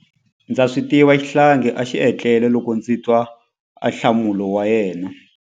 Ndza swi tiva xihlangi a xi etlele loko ndzi twa ahlamulo wa yena.